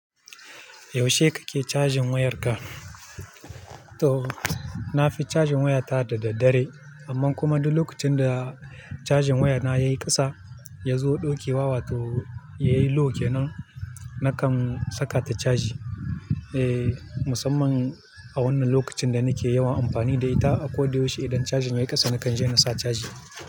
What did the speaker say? Yaushe kake cajin wayarka? To, nafi cajin waya ta da dare, amma kuma duk lokacin da cajin waya na yayi ƙasa, ya zo ɗaukewa wato yayi low kenan, nakan saka ta caji. Eh, musamman a wannan lokacin da nake yawan amfani da ita. Kwlo da yaushe idan cajin yayi ƙasa nakan je na sa caji.